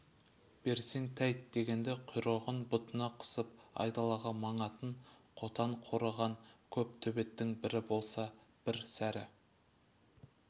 берсең тәйт дегенде құйрығын бұтына қысып айдалаға маңатын қотан қорыған көп төбеттің бірі болса бір сәрі